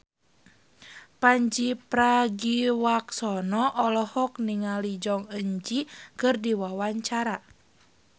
Pandji Pragiwaksono olohok ningali Jong Eun Ji keur diwawancara